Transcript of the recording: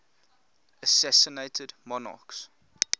assassinated monarchs